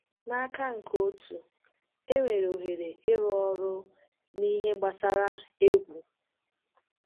N’aka nke otu, enwere ohere ịrụ ọrụ n’ihe gbasara egwu.